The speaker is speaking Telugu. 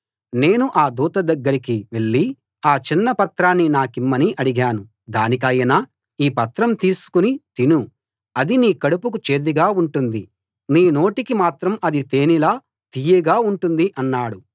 నేను ఆ దూత దగ్గరికి వెళ్ళి ఆ చిన్న పత్రాన్ని నాకిమ్మని అడిగాను దానికాయన ఈ పత్రం తీసుకుని తిను అది నీ కడుపుకు చేదుగా ఉంటుంది నీ నోటికి మాత్రం అది తేనెలా తియ్యగా ఉంటుంది అన్నాడు